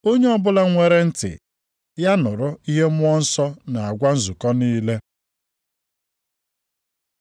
Onye ọbụla nwere ntị, ya nụrụ ihe Mmụọ Nsọ na-agwa nzukọ niile.